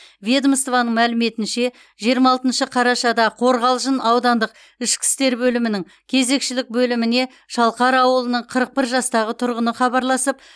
ведомствоның мәліметінше жиырма алтыншы қарашада қорғалжын аудандық ішкі істер бөлімінің кезекшілік бөліміне шалқар ауылының қырық бір жастағы тұрғыны хабарласып